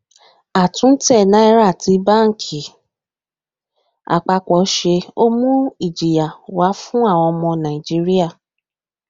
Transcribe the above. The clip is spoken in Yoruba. a tún tẹ náírà tí banki apapo ṣe ó mú ìjìyà wá fún àwọn ọmọ naijiria